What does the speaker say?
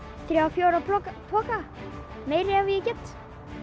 þrír til fjórir poka poka meira ef ég get